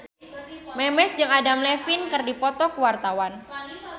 Memes jeung Adam Levine keur dipoto ku wartawan